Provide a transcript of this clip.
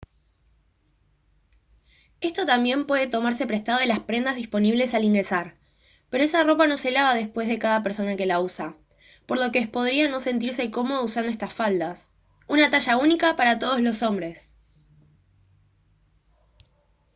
esto también puede tomarse prestado de las prendas disponibles al ingresar pero esa ropa no se lava después de cada persona que la usa por lo que es podría no sentirse cómodo usando estas faldas. ¡una talla única para todos los hombres!